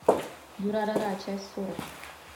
дюрарара часть сорок